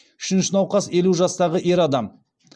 үшінші науқас елу жастағы ер адам